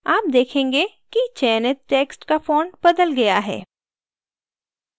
आप देखेंगे कि चयनित text का font बदल गया है